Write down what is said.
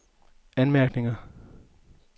anmærkninger